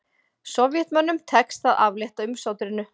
Sovétmönnum tekst að aflétta umsátrinu